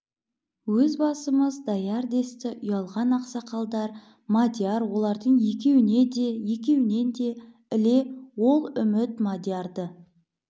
өз басымыз даяр десті ұялған ақсақалдар мадияр олардың екеуіне де екеуінен де іле ол үміт мадиярды